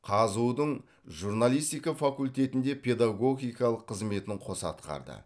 қазұу дың журналистика факультетінде педагогикалық қызметін қоса атқарды